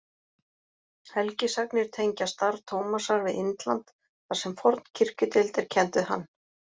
Helgisagnir tengja starf Tómasar við Indland þar sem forn kirkjudeild er kennd við hann.